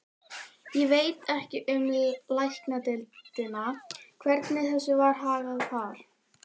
Ég veit ekki um Læknadeildina, hvernig þessu var hagað þar.